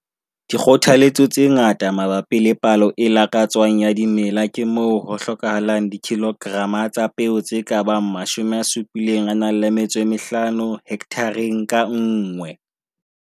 Dikgothaletso tse ngata mabapi le palo e lakatswang ya dimela ke moo ho hlokahalang dikilograma tsa peo tse ka bang 75 hekthareng ka nngwe.